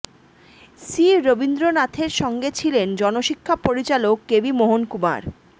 C রবীন্দ্রনাথের সঙ্গে ছিলেন জনশিক্ষা পরিচালক কেভি মোহন কুমার